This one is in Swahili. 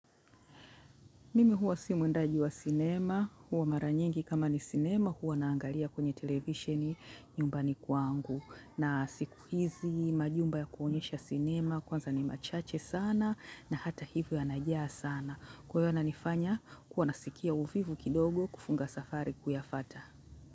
Mimi huwa si mwendaji wa cinema, huwa mara nyingi kama ni cinema, huwa naangalia kwenye televisheni nyumbani kwangu. Na siku hizi majumba ya kuonyesha cinema, kwanza ni machache sana na hata hivyo yanajaa sana. Kwa hivyo yana nifanya kuwa nasikia uvivu kidogo kufunga safari kuyafuata.